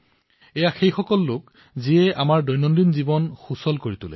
এওঁলোকৰ বাবে আমাৰ দৈনন্দিন জীৱন সুগম হৈ পৰে